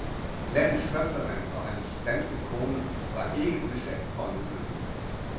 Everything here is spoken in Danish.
Landets førstemand og hans danske kone var ikke udsat for en ulykke.